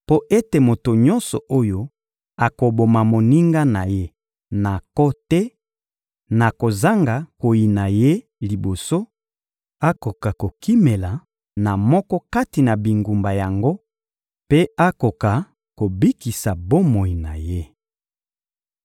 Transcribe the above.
mpo ete moto nyonso oyo akoboma moninga na ye na nko te, na kozanga koyina ye liboso, akoka kokimela na moko kati na bingumba yango mpe akoka kobikisa bomoi na ye.